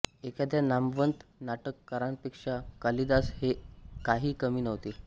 एखाद्या नामवंत नाटककारांपेक्षा कालिदास हे काही कमी नव्हते